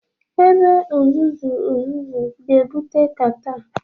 Ebe uzuzu uzuzu ga-ebute catarh